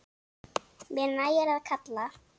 Mér nægir að kalla.